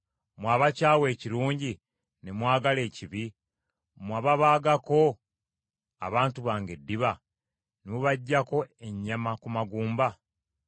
mmwe abakyawa ekirungi ne mwagala ekibi; mmwe ababaagako abantu bange eddiba ne mubaggyako ennyama ku magumba?